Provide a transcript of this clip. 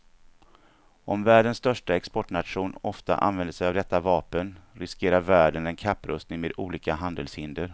Om världens största exportnation ofta använder sig av detta vapen, riskerar världen en kapprustning med olika handelshinder.